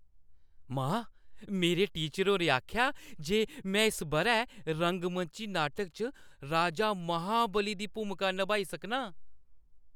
मां, मेरे टीचर होरें आखेआ जे में इस बʼरै रंगमंची नाटक च राजा महाबली दी भूमिका नभाई सकनां।